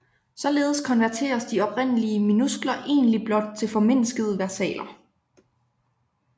Således konverteres de oprindelige minuskler egentlig blot til formindskede versaler